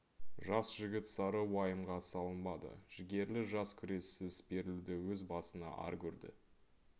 жас жігіт сары уайымға салынбады жігерлі жас күрессіз берілуді өз басына ар көрді